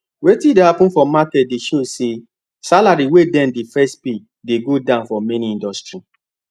wetin dey happen for market dey show say salary wey dem dey first pay dey go down for many industry